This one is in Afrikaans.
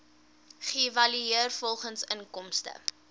geëvalueer volgens inkomste